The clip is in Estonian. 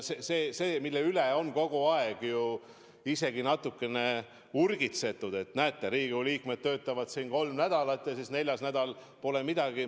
Sel teemal on ju kogu aeg natukene urgitsetud, et näete, Riigikogu liikmed töötavad kolm nädalat ja neljas nädal pole midagi teha.